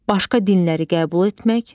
Başqa dinləri qəbul etmək.